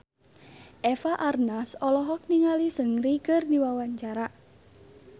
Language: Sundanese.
Eva Arnaz olohok ningali Seungri keur diwawancara